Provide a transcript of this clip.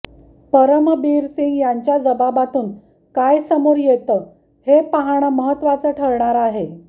परमबीर सिंग यांच्या जबाबातून काय समोर येतं हे पाहणं महत्त्वाचं ठरणार आहे